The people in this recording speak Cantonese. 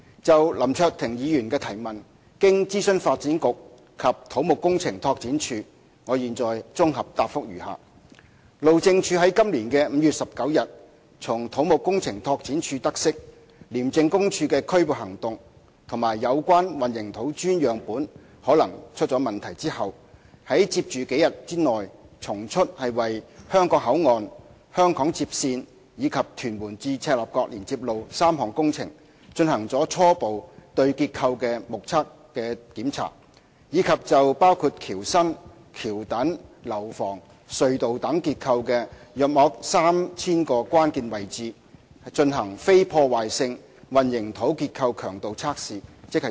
就林卓廷議員的提問，經諮詢發展局及土木工程拓展署，我現綜合答覆如下：路政署在今年5月19日從土木工程拓展署得悉廉政公署的拘捕行動及有關混凝土磚樣本可能出問題後，於接着數天內從速為香港口岸、香港接線，以及屯門至赤鱲角連接路3項工程進行了初步對結構的"目測檢查"；以及就包括橋身、橋墩、樓房、隧道等結構的約 3,000 個關鍵位置，進行非破壞性混凝土結構強度測試。